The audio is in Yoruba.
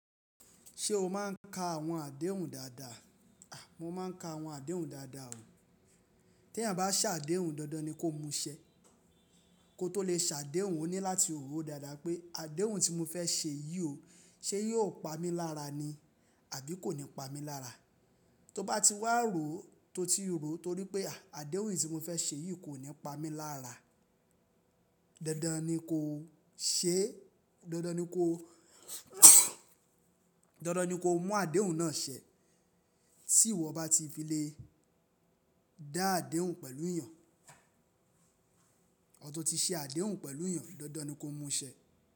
Ṣé o máà ń ka àwọn àdéhùn dáadáa? Mo máa ń ka àwọn àdéhùn dáadáa o. Tí èèyàn bá sàdéhùn dandan ni kó mu ṣẹ. Kó tó lè sàdéhùn, o ní láti rò ó dáadáa pé àdéhùn tí mo fẹ́ ṣe yìí o, ṣe yóò pa mí lára ni àbí kò ní pa mí lára. Tó bá ti wá ro tó ti rò torí pé àdéhùn tí mo fẹ́ ṣe yìí kò ní pa mí lára, dandan ni kó ṣẹ́, dandan ni kó, dandan ni kó mú àdéhùn náà ṣẹ. Tí ìwọ bá ti fi lè dá àdéhùn pẹ̀lú èèyàn, or tó ti sẹ àdéhùn pẹ̀lú èèyàn, dandan ni kó mu ṣẹ.